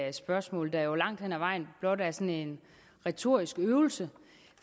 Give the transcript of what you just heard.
et spørgsmål der jo langt hen ad vejen blot er sådan en retorisk øvelse